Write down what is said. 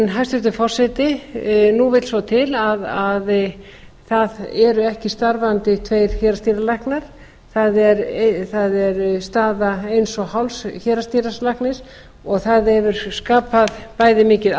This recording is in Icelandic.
hæstvirtur forseti nú vill svo til að það eru ekki starfandi tveir héraðsdýralæknar það er staða eins og hálfs héraðsdýralæknis og það hefur skapað bæði mikið